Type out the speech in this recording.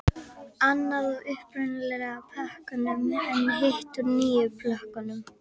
Annað úr upprunalegu plönkunum en hitt úr nýjum plönkum.